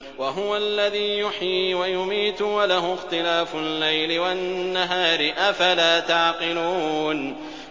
وَهُوَ الَّذِي يُحْيِي وَيُمِيتُ وَلَهُ اخْتِلَافُ اللَّيْلِ وَالنَّهَارِ ۚ أَفَلَا تَعْقِلُونَ